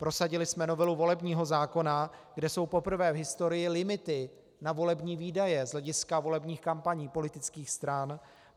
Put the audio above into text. Prosadili jsme novelu volebního zákona, kde jsou poprvé v historii limity na volební výdaje z hlediska volebních kampaní politických stran.